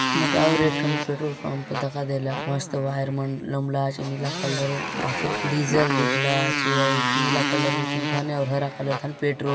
मुकर एकठोन petrol pump दखा देला मस्त बाहेर नीला कलर ना छे डिसल दिखला छे नीला कलर पेट्रोल ।